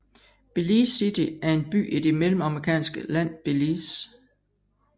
Belize City er en by i det mellemamerikanske land Belize